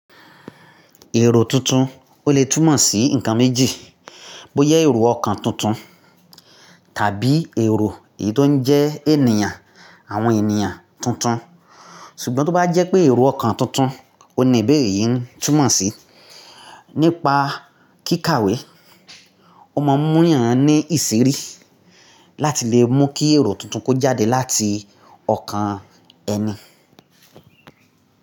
Èrò tuntun o le tùmọ̀ sí nǹkan méjì. Bóyà èrò ọkan tuntun tàbí èrò èyí tó ń jẹ́ ènìyàn àwọn ènìyàn tuntun. Ṣùgbọ́n tó bá jẹ́ pé èrò ọkàn tuntun, òun ní ìbéèrè yí túnmọ̀ sí nípa kíkàwé. O máa ń mú yàn ń ní ìsírí láti le mú kí èrò tuntun kó jáde láti ọ̀kan ẹni.